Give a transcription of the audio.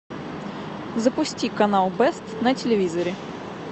запусти канал бест на телевизоре